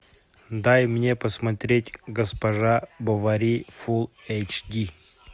дай мне посмотреть госпожа бовари фул эйч ди